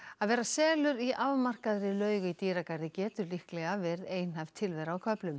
að vera selur í afmarkaðri laug í dýragarði getur líklega verið einhæf tilvera á köflum